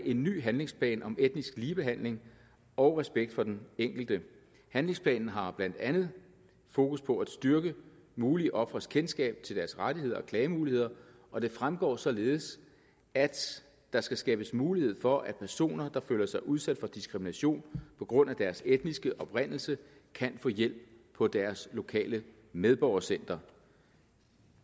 en ny handlingsplan om etnisk ligebehandling og respekt for den enkelte handlingsplanen har blandt andet fokus på at styrke mulige ofres kendskab til deres rettigheder og klagemuligheder og det fremgår således at der skal skabes mulighed for at personer der føler sig udsat for diskrimination på grund af deres etniske oprindelse kan få hjælp på deres lokale medborgercenter